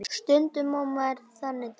Stundum á maður þannig daga.